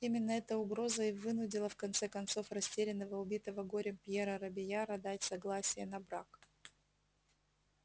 именно эта угроза и вынудила в конце концов растерянного убитого горем пьера робийяра дать согласие на брак